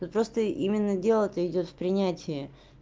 но просто именно дело то идёт в принятии